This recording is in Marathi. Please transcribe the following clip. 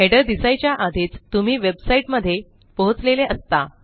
हेडर दिसायच्या आधीच तुम्ही वेबसाईट मध्ये पोहोचलेले असता